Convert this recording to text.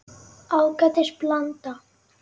Ágætis blanda.